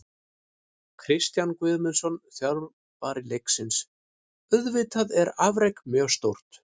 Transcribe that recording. Kristján Guðmundsson, þjálfari Leiknis: Auðvitað er afrekið mjög stórt.